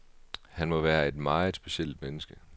Han må være et meget specielt menneske.